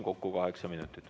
Kokku kaheksa minutit.